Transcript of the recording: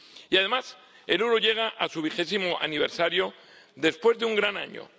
Y, además, el euro llega a su vigésimo aniversario después de un gran año.